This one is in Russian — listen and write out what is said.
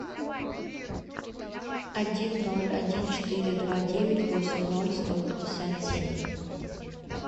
один ноль один четыре два девять восемь ноль сто пятьдесят семь